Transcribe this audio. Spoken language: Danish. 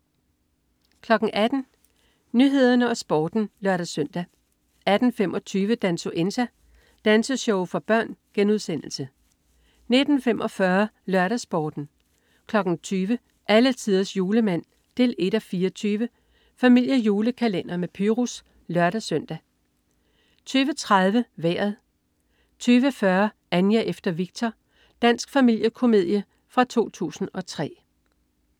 18.00 Nyhederne og Sporten (lør-søn) 18.25 Dansuenza. Danseshow for børn* 19.45 LørdagsSporten 20.00 Alletiders Julemand. 1:24 Familiejulekalender med Pyrus (lør-søn) 20.30 Vejret 20.40 Anja efter Viktor. Dansk familiekomedie fra 2003